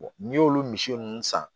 n'i y'olu misi ninnu san